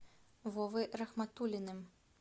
вовой рахматуллиным